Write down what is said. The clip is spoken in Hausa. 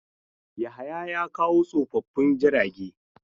Yahaya ya kawo tsofaffin jirage.